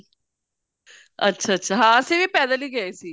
ਅੱਛਾ ਅੱਛਾ ਹਾਂ ਅਸੀਂ ਵੀ ਪੈਦਲ ਹੀ ਗਏ ਸੀ